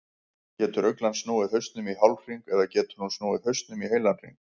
Getur uglan snúið hausnum í hálfhring eða getur hún snúið hausnum í heilan hring?